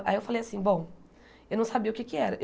Aí eu falei assim, bom, eu não sabia o que é que era.